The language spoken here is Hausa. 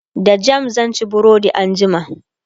da jam sanci burodi anjima